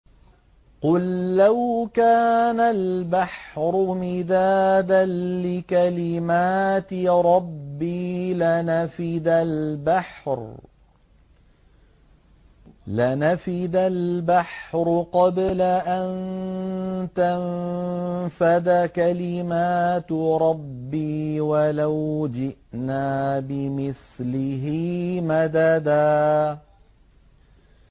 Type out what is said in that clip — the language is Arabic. قُل لَّوْ كَانَ الْبَحْرُ مِدَادًا لِّكَلِمَاتِ رَبِّي لَنَفِدَ الْبَحْرُ قَبْلَ أَن تَنفَدَ كَلِمَاتُ رَبِّي وَلَوْ جِئْنَا بِمِثْلِهِ مَدَدًا